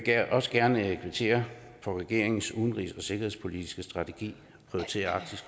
også gerne kvittere for at regeringens udenrigs og sikkerhedspolitiske strategi prioriterer arktis